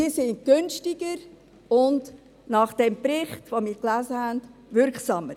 Diese sind günstiger und nach diesem, von uns gelesenen Bericht wirksamer.